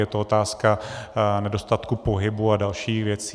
Je to otázka nedostatku pohybu a dalších věcí.